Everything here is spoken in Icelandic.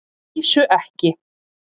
Að vísu ekki.